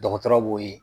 Dɔgɔtɔrɔ b'o ye